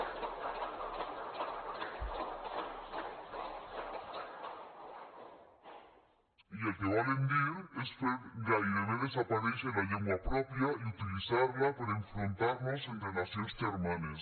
i el que volen dir és fer gairebé desaparèixer la llengua pròpia i utilitzar la per enfrontar nos entre nacions germanes